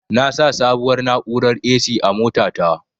Na sa sabuwar na'urar "A.C" a mota ta